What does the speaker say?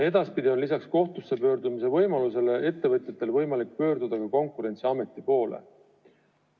Edaspidi on lisaks kohtusse pöördumise võimalusele ettevõtjatel võimalik pöörduda Konkurentsiameti poole.